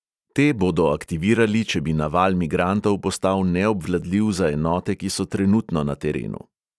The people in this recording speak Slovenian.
Te bodo aktivirali, če bi naval migrantov postal neobvladljiv za enote, ki so trenutno na terenu.